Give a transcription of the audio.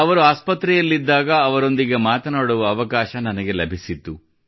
ಅವರು ಆಸ್ಪತ್ರೆಯಲ್ಲಿದ್ದಾಗ ಅವರೊಂದಿಗೆ ಮಾತನಾಡುವ ಅವಕಾಶ ನನಗೆ ಲಭಿಸಿತ್ತು